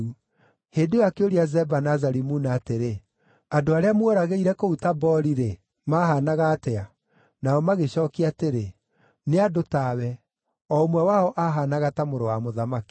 Hĩndĩ ĩyo akĩũria Zeba na Zalimuna atĩrĩ, “Andũ arĩa mworagĩire kũu Tabori-rĩ, maahaanaga atĩa?” Nao magĩcookia atĩrĩ, “Nĩ andũ tawe, o ũmwe wao aahaanaga ta mũrũ wa mũthamaki.”